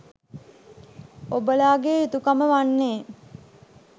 ඔබලාගේයුතුකම වන්නේ